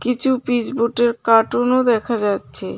কিছু পিসবোর্ডের কার্টুনও দেখা যাচ্ছে.